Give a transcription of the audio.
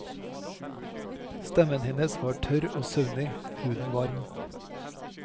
Stemmen hennes var tørr og søvnig, huden varm.